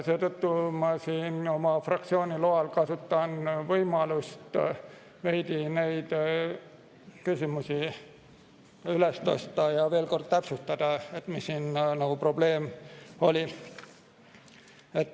Seetõttu ma oma fraktsiooni loal kasutan võimalust veidi neid küsimusi üles tõsta ja veel kord täpsustada, mis siin nagu probleem oli.